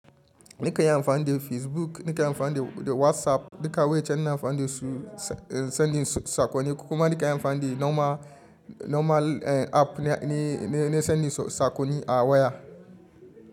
Nakanyi amfani da Facebook, nakanyi amfani da WhatsApp, duka wa'yancen ina amfani da su, sending sakonni kuma nakanyi amfani da normal, normal app ne, ne, ne sending sakonni a waya.